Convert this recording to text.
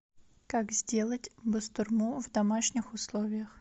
как сделать бастурму в домашних условиях